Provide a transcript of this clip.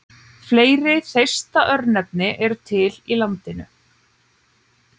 Fleiri Þeista-örnefni eru til í landinu.